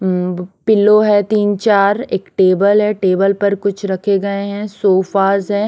Pillow है तीन चार एक टेबल है टेबल पर कुछ रखे गए हैं सोफास है।